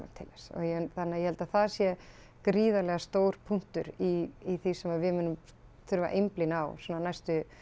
til þess þannig að ég held að það sé gríðarlega stór punktur í því sem við munum þurfa að einblína á svona næstu